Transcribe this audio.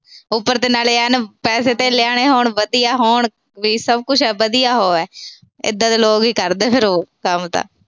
ਉਪਰ ਦੀ ਐਨ ਪੈਸੇ-ਧੇਲੇ ਆਲੇ ਹੋਣ, ਐਨ ਵਧੀਆ ਹੋਣ। ਵੀ ਸਭ ਕੁਛ ਹੈ, ਵਧੀਆ ਉਹ ਹੈ। ਇਦਾਂ ਦੇ ਲੋਕ ਈ ਕਰਦੇ ਆ ਫਿਰ ਉਹ ਕੰਮ ਤਾਂ।